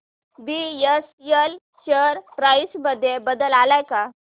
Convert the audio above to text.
BSL share price मध्ये बदल आलाय का